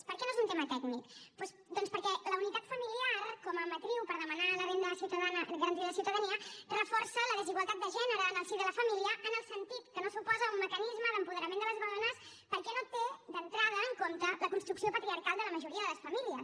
per què no és un tema tècnic doncs perquè la unitat familiar com a matriu per demanar la renda garantida de ciutadania reforça la desigualtat de gènere en el si de la família en el sentit que no suposa un mecanisme d’apoderament de les dones perquè no té d’entrada en compte la construcció patriarcal de la majoria de les famílies